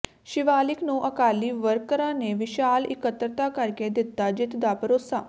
ਸ਼ਿਵਾਲਿਕ ਨੂੰ ਅਕਾਲੀ ਵਰਕਰਾਂ ਨੇ ਵਿਸ਼ਾਲ ਇਕੱਤਰਤਾ ਕਰਕੇ ਦਿੱਤਾ ਜਿੱਤ ਦਾ ਭਰੋਸਾ